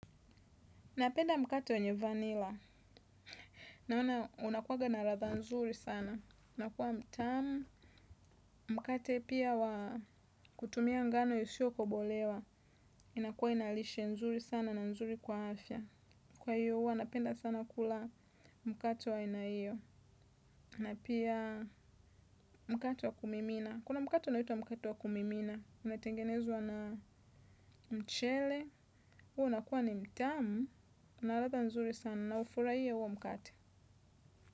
Napenda mkate wenye vanilla, naona unakuwanga na ladha nzuri sana, unakuwa mtamu. Mkate pia wa kutumia ngano isiyo kobolewa, inakuwa ina lishe nzuri sana na nzuri kwa afya. Kwa hiyo huwa napenda sana kula mkate wa aina hiyo, na pia mkate wa kumimina, kuna mkate unaitwa mkate wa kumimina, unatengenezwa na mchele, huo unakuwa ni mtamu, una ladha nzuri sana. Naufurahia huo mkate.